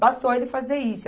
Bastou ele fazer isso.